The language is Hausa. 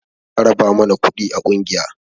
Za a raba mana kuɗi a ƙungiya